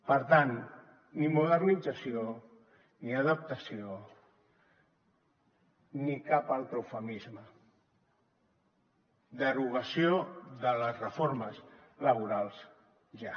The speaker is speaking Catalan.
per tant ni modernització ni adaptació ni cap altre eufemisme derogació de les reformes laborals ja